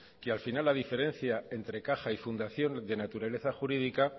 que al final la diferencia entre caja y fundación de naturaleza jurídica